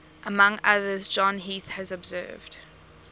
among others john heath has observed